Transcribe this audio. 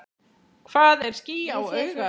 Hvað er ský á auga?